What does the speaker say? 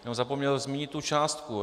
Jenom zapomněl zmínit tu částku.